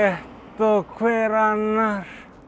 og hver annar